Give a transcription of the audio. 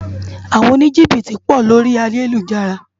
Awòn ónijibiti pò lóri àyélújàrá